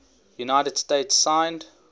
united states signed